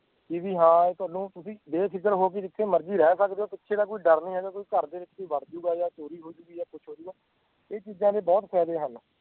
ਕਿ ਵੀ ਹਾਂ ਤੁਹਾਨੂੰ ਤੁਸੀਂ ਬੇਫ਼ਿਕਰ ਹੋ ਕੇ ਜਿੱਥੇ ਮਰਜ਼ੀ ਰਹਿ ਸਕਦੇ ਹੋ ਪਿੱਛੇ ਦਾ ਕੋਈ ਡਰ ਨੀ ਹੈਗਾ ਕੋਈ ਘਰਦੇ ਵਿੱਚ ਵੀ ਵੜ ਜਾਊਗਾ ਜਾਂ ਚੋਰੀ ਹੋ ਜਾਊਗੀ ਜਾਂ ਕੁਛ ਹੋ ਜਾਊਗਾ, ਇਹ ਚੀਜ਼ਾਂ ਦੇ ਬਹੁਤ ਫ਼ਾਇਦੇ ਹਨ,